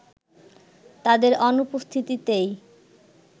তাদের অনুপস্থিতিতেই